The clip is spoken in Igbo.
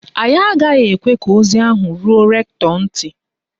Anyị agaghị ekwe ka ozi ahụ ruo rektọ ntị.